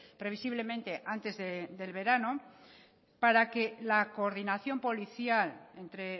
previsiblemente antes del verano para que la coordinación policial entre